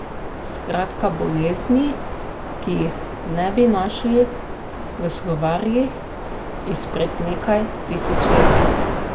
Skratka bolezni, ki jih ne bi našli v slovarjih izpred nekaj tisočletij.